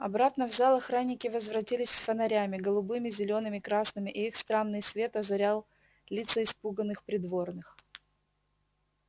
обратно в зал охранники возвратились с фонарями голубыми зелёными красными и их странный свет озарил лица испуганных придворных